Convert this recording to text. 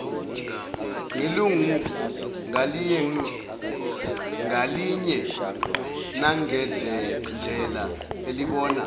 ngelungu ngalinyenangendlela elibona